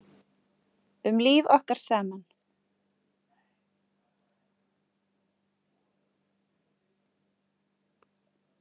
Um líf okkar saman.